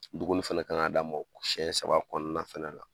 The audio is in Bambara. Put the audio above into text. Dumuni fɛnɛ k'an ka d'a ma siyɛn saba kɔnɔna fɛnɛ la.